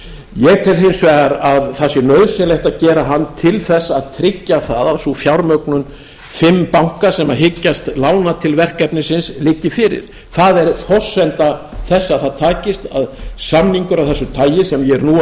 ég tel hins vegar að það sé nauðsynlegt að gera hann til að tryggja það að sú fjármögnun fimm banka sem hyggjast lána til verkefnisins liggi fyrir það er forsenda þess að það takist að samningur af þessu tagi sem ég